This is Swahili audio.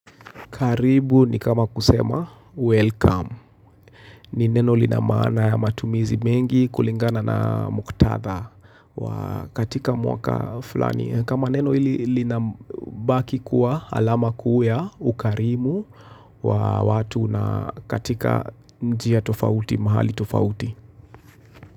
Karibu ni kama kusema, welcome. Ni neno lina maana ya matumizi mengi kulingana na muktatha. Katika mwaka fulani. Kama neno hili linabaki kuwa alama kuu ya ukarimu wa watu na katika njia tofauti, mahali tofauti.